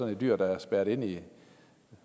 et dyr der er spærret inde